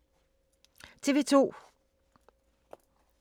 TV 2